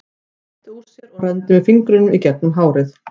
Hann rétti úr sér og renndi með fingrunum í gegnum hárið.